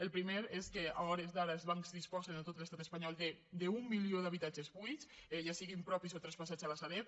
la primera és que a hores d’ara els bancs disposen en tot l’estat espanyol d’un milió d’habitatges buits ja siguin propis o traspassats a la sareb